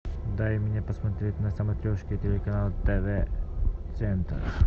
дай мне посмотреть на смотрешке телеканал тв центр